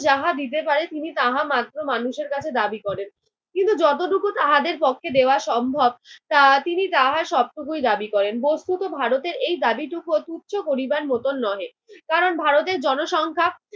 যাহা দিতে পারে তিনি তাহা মাত্র মানুষের কাছে দাবি করেন। কিন্তু যতটুকু তাহাদের পক্ষে দেওয়া সম্ভব তা~ তিনি তাহা সবটুকুই দাবি করেন। বস্তুত ভারতের এই দাবিটুকুও তুচ্ছ করিবার মতন নহে। কারণ ভারতের জনসংখ্যা